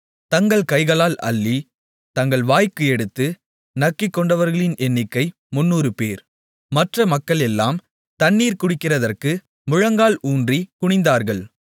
தங்கள் கைகளால் அள்ளி தங்கள் வாய்க்கு எடுத்து நக்கிக்கொண்டவர்களின் எண்ணிக்கை 300 பேர் மற்ற மக்களெல்லாம் தண்ணீர் குடிக்கிறதற்கு முழங்கால் ஊன்றிக் குனிந்தார்கள்